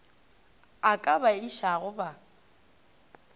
a ka ba šiago ba